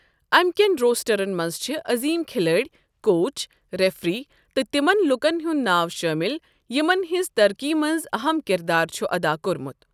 اَمکٮ۪ن روسٹرَن منٛز چھِ عظیٖم کھلٲڑۍ، کوچ، ریفری تہٕ تِمَن لوکَن ہُنٛد ناو شٲمل یِمَن ہٕنٛزِ ترقی منٛز اہم کِردار چھُ ادا کوٚرمُت۔